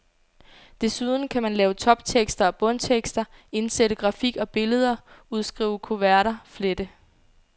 Desuden kan man lave toptekster og bundtekster, indsætte grafik og billeder, udskrive kuverter, flette.